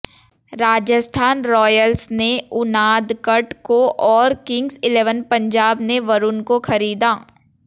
Rajasthan Royals ने उनादकट को और किंग्स इलेवन पंजाब ने वरुण को खरीदा